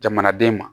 Jamanaden ma